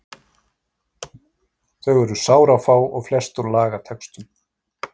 Þau eru sárafá og flest úr lagatextum.